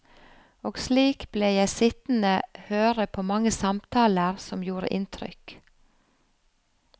Og slik ble jeg sittende høre på mange samtaler som gjorde inntrykk.